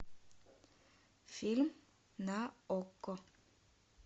фильм на окко